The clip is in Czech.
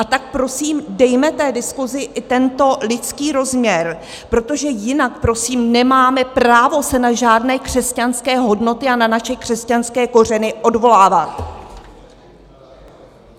A tak prosím, dejme té diskusi i tento lidský rozměr, protože jinak, prosím, nemáme právo se na žádné křesťanské hodnoty a na naše křesťanské kořeny odvolávat.